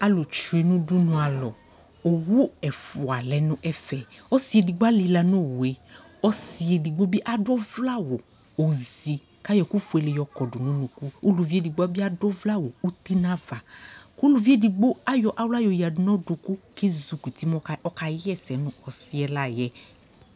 Alʋ tsyue nʋudunu alɔ, owu ɛfʋa lɛ nʋ ɛfɛƆsι edigbo alιla nʋ owu yɛ, ɔsι edigbo bι adʋ ɔvlɛ awʋ oozi kʋ ayɔ ɛkʋ fuele dι yɔ kɔdʋ nʋ unuku Ulʋvi edigbo bι adʋ ɔvlɛ awʋ uti nʋ avaUluvi edigbo ayɔ aɣla yɔ yadu nʋ adʋkʋ kʋ ezikɔ uti mu ɔka ɣa ɛsɛ nʋ ɔsι yɛ la yɛ'